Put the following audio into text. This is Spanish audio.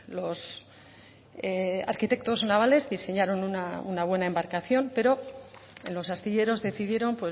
los arquitectos navales diseñaron una buena embarcación pero en los astilleros decidieron